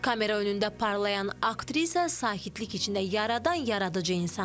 Kamera önündə parlayan aktrisa sakitlik içində yaradan yaradıcı insan.